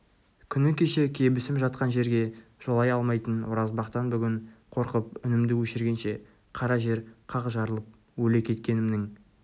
күні кеше кебісім жатқан жерге жолай алмайтын оразбақтан бүгін қорқып үнімді өшіргенше қара жер қақ жарылып өле кеткенімнің